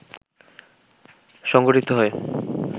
সংঘটিত হয়